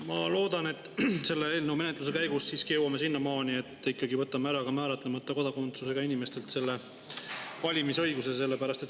Ma loodan, et selle eelnõu menetluse käigus jõuame siiski sinnamaani, et võtame ka määratlemata kodakondsusega inimestelt valimisõiguse ära.